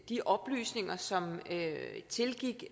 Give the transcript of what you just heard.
de oplysninger som tilgik